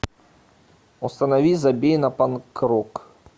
установи забей на панк рок